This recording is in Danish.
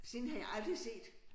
Sådan en har jeg aldrig set